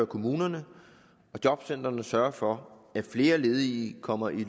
kommunerne og jobcentrene sørge for at flere ledige kommer i